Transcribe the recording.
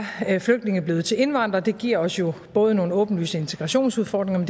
flygtninge blevet til indvandrere det giver os jo både nogle åbenlyse integrationsudfordringer